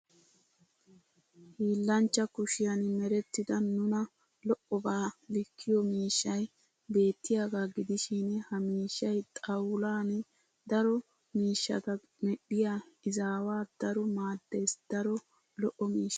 Hiillanchchaa kushiyan merettida nuna lo'abaa likkiyo miishshay beettiyaagaa gidishin ha mishshay xawulan daro miishshata medhdhiya izaawaa daro maaddes daro lo'o miishsha.